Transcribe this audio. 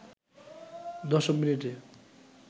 দশম মিনিটে